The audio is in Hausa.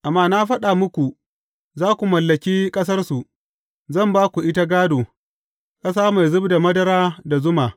Amma na faɗa muku, Za ku mallaki ƙasarsu, zan ba ku ita gādo, ƙasa mai zub da madara da zuma.